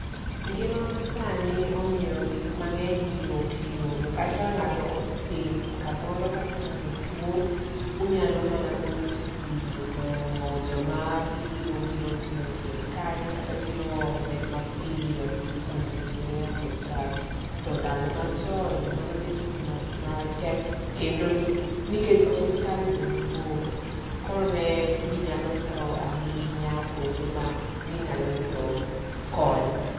Ngima ma sani omiyo gik mang'eny yot yudo kata ka ng'ato osim kamoro kata ka ng'ato tuwo, unyalo mana goyo simu to jomabiro biro timo thieth kanyo kato biro ome mapiyo, mondo otere e osuptal. To ndalo machon mano me tich matek kendo nikech bende osuptal ne mabor. Koro ne ji nyalo tho ahinya kuonde ma ginyalo yudo kony.